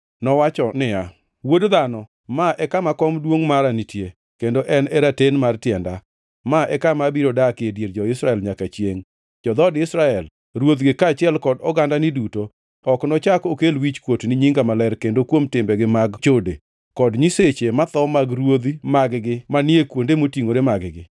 Nowacho niya, “Wuod dhano, ma en kama kom duongʼ mara nitie, kendo en e raten mar tienda. Ma e kama abiro dakie e dier jo-Israel nyaka chiengʼ. Jo-dhood Israel, ruodhigi kaachiel gi ogandani duto ok nochak okel wichkuot ni nyinga maler kendo kuom timbegi mag chode, kod nyiseche motho mag ruodhi mag-gi manie kuonde motingʼore mag-gi.